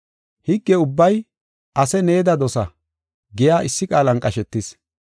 Higge ubbay, “Ase needa dosa” giya issi qaalan qashetis.